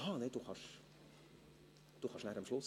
Freudiger spricht am Schluss.